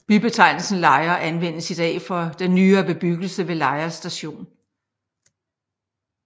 Bybetegnelsen Lejre anvendes i dag for den nyere bebyggelse ved Lejre Station